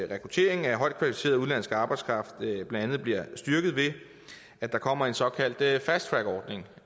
rekrutteringen af højt kvalificeret udenlandsk arbejdskraft blandt andet bliver styrket ved at der kommer en såkaldt fasttrackordning